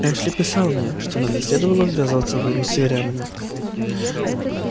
эшли писал мне что нам не следовало ввязаться в войну с северянами